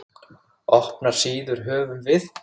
Opnar síður höfum við.